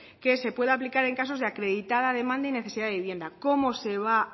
que se puede aplicar en casos de acreditada demanda y necesidad de vivienda cómo se va